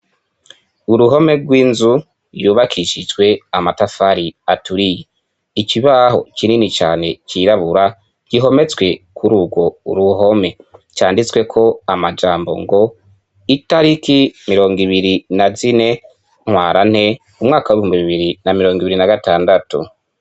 Uruhome rw'inzu yubakishijwe amatafari aturiye, ikibaho kinini cane cirabura gihometswe kuri urwo ruhome canditswe ko amajambo ngo itariki mirongo ibiri na zine ntwarante umwaka w'ibihumbi bibiri na mirongo ibiri na gatandatu.